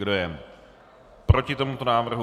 Kdo je proti tomuto návrhu?